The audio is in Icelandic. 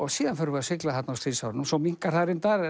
síðan förum við að sigla þarna á stríðsárunum og svo minnkar það reyndar